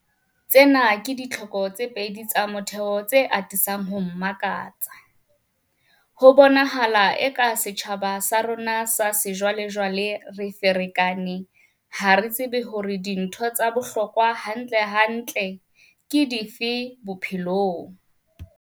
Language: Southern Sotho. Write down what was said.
Tsena ke ditlhoko tse pedi tsa motheo tse atisang ho mmakatsa - ho bonahala eka setjhabeng sa rona sa sejwalejwale, re ferekane, ha re tsebe hore dintho tsa bohlokwa hantlentle ke dife bophelong.